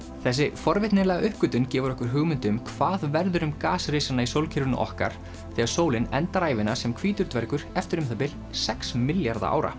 þessi forvitnilega uppgötvun gefur okkur hugmynd um hvað verður um gasrisana í sólkerfinu okkar þegar sólin endar ævina sem hvítur dvergur eftir um það bil sex milljarða ára